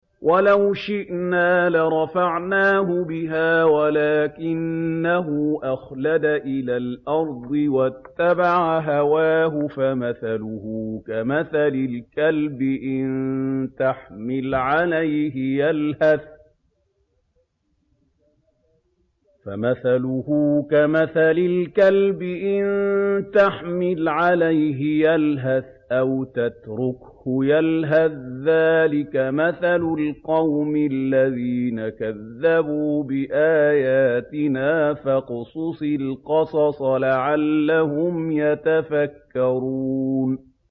وَلَوْ شِئْنَا لَرَفَعْنَاهُ بِهَا وَلَٰكِنَّهُ أَخْلَدَ إِلَى الْأَرْضِ وَاتَّبَعَ هَوَاهُ ۚ فَمَثَلُهُ كَمَثَلِ الْكَلْبِ إِن تَحْمِلْ عَلَيْهِ يَلْهَثْ أَوْ تَتْرُكْهُ يَلْهَث ۚ ذَّٰلِكَ مَثَلُ الْقَوْمِ الَّذِينَ كَذَّبُوا بِآيَاتِنَا ۚ فَاقْصُصِ الْقَصَصَ لَعَلَّهُمْ يَتَفَكَّرُونَ